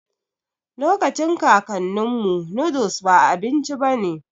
Lokacin kakaninmu, noodles ba abinci bane